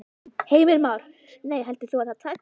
Heimir Már: Nei, heldur þú að það takist?